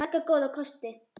Marga góða kosti.